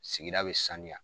Sigida bɛ sanuya.